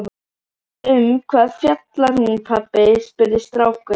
Um hvað fjallar hún pabbi? spurði strákur.